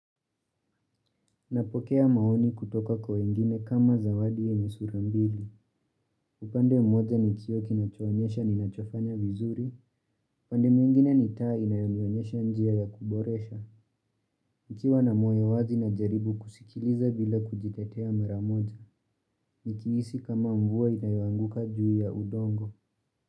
Napokea maoni kutoka kwa wengine kama zawadi yenye sura mbili. Upande mmoja ni kioo kinachoonyesha ninachofanya vizuri. Upande mwingine ni taa inayonionyesha njia ya kuboresha. Nikiwa na moyo wazi najaribu kusikiliza bila kujitetea mara moja. Nikihisi kama mvua inayoanguka juu ya udongo.